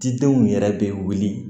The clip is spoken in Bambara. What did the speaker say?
Cidenw yɛrɛ bɛ wuli